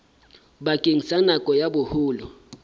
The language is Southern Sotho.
bakeng sa nako ya boholo